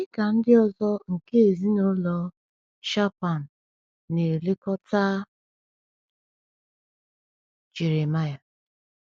Ọ̀ dị ka ndị ọzọ nke ezinụlọ Shaphan na-elekọta Jeremiah?